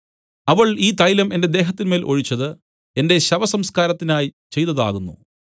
അവൾ ഈ തൈലം എന്റെ ദേഹത്തിന്മേൽ ഒഴിച്ചത് എന്റെ ശവസംസ്കാരത്തിനായി ചെയ്തതാകുന്നു